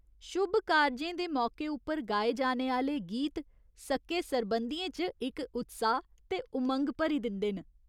शुभ कारजें दे मौके उप्पर गाए जाने आह्‌ले गीत सक्के सरबंधियें च इक उत्साह् ते उमंग भरी दिंदे न।